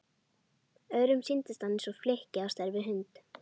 Öðrum sýndist hann eins og flykki á stærð við hund.